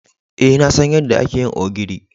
Eh, na san yadda ake yin ogiri.